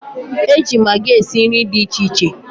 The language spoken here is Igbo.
e ji magị esi nri dị iche iche.